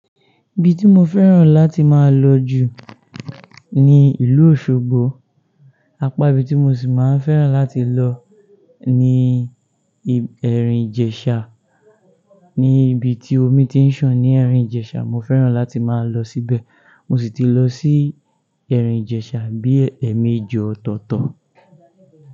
Ibi tí mo fẹ́ràn láti máa lọ jù ní ìlú Òṣogbo, apá ibi tí mo sì máa ń fẹ́ràn láti lọ ni ẹ̀rìn Ìjèṣà. Ni ibi tí omi ti ń sàn ní ẹ̀rìn Ìjèṣà, mọ fẹ́ràn láti máa lọ síbẹ̀. Mọ ṣì ti lọ sí ẹ̀rìn Ìjèṣà bí ẹ̀ẹ̀méjì ọ̀tọ̀ọ̀tọ̀.